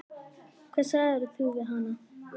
Hvað sagðirðu við hana?